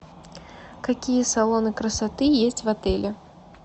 какие салоны красоты есть в отеле